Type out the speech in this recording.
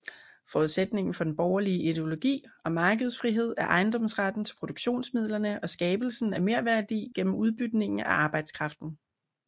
Forudsætningen for den borgerlige ideologi om markedsfrihed er ejendomsretten til produktionsmidlerne og skabelsen af merværdi gennem udbytningen af arbejdskraften